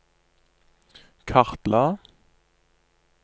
kartla